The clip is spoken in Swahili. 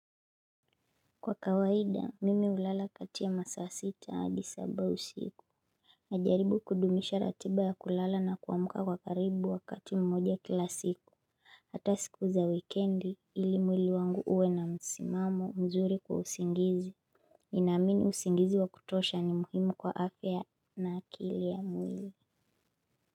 Kwa kawaida mimi hulala kati ya masaa sita hadi saba siku Najaribu kudumisha ratiba ya kulala na kuamka kwa karibu wakati mmoja kila siku Hata siku za wikendi ili mwili wangu uwe na msimamo mzuri kwa usingizi Ninaamini usingizi wa kutosha ni muhimu kwa afya na akili ya mwili.